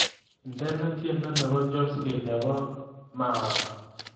Indene tyendo nebo choski nebo mawa